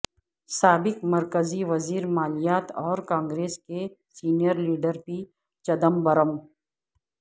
سابق مرکزی وزیر مالیات اور کانگریس کے سینئر لیڈر پی چدمبرم